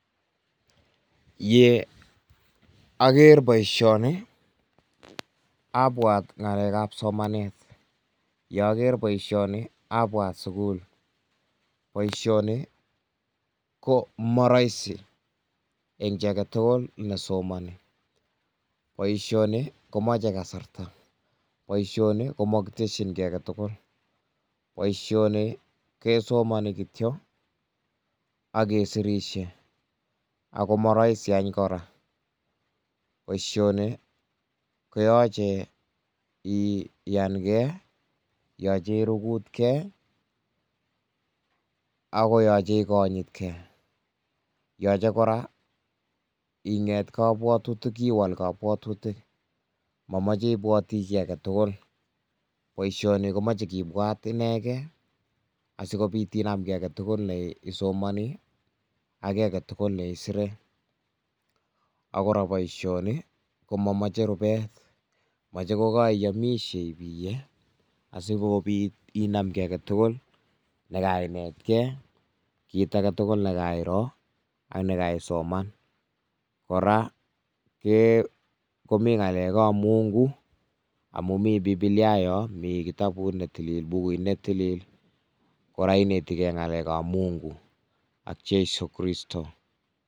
Ye aker boisioni, abwat ngalekab somanet, ye aker boisioni abwat sukul, boisioni ko moroisi eng ji aketugul nee somani, boisioni komache kasarta, boisioni ko makitesyin kii aketugul, boisioni ke somani kityok ak kesirisie, ako maroisi any kora, boisioni koyache iyan Kee yoche irugut Kee, ako yoche ikonyit Kee, yoche kora iwal kobwotutik mamoche ibwoti kii aketugul, boisioni komoche kibwat inekee asikobit inam kii aketugul nee isomoni, ak kii aketugul nee isire, ak kora boisioni komamoche rubet, moche ko kariyomishe ibiye asikobit inam kii aketugul nekainetkee, kit aketugul nee kairoo ak me ka isoman, kora komi ngalekab mungu amun mi bibilia yoo mi kitabut nee tilil, bukuit ne tilil, kora inetike ngalekab mungu ak jeiso kristo.